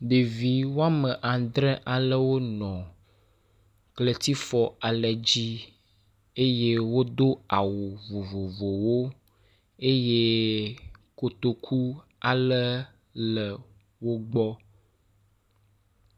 Ɖevi woame aŋdre alewo nɔ kletifɔ ale dzi eye wodo awu vovovowo eye kotoku ale le wogbɔ.